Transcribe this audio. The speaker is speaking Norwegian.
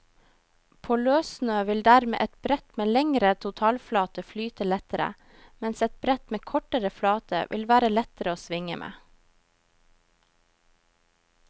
På løssnø vil dermed et brett med lengre totalflate flyte lettere, mens et brett med kortere flate vil være lettere å svinge med.